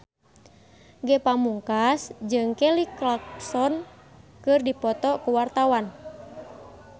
Ge Pamungkas jeung Kelly Clarkson keur dipoto ku wartawan